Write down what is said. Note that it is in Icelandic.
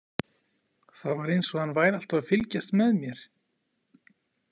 Það var eins og hann væri alltaf að fylgjast með mér.